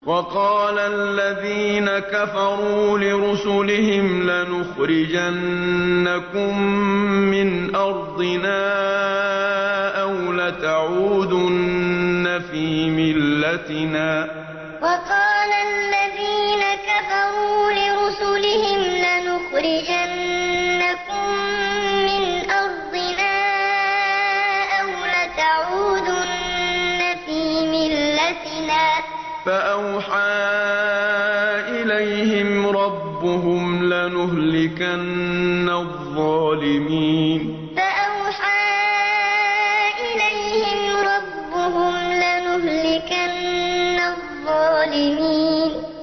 وَقَالَ الَّذِينَ كَفَرُوا لِرُسُلِهِمْ لَنُخْرِجَنَّكُم مِّنْ أَرْضِنَا أَوْ لَتَعُودُنَّ فِي مِلَّتِنَا ۖ فَأَوْحَىٰ إِلَيْهِمْ رَبُّهُمْ لَنُهْلِكَنَّ الظَّالِمِينَ وَقَالَ الَّذِينَ كَفَرُوا لِرُسُلِهِمْ لَنُخْرِجَنَّكُم مِّنْ أَرْضِنَا أَوْ لَتَعُودُنَّ فِي مِلَّتِنَا ۖ فَأَوْحَىٰ إِلَيْهِمْ رَبُّهُمْ لَنُهْلِكَنَّ الظَّالِمِينَ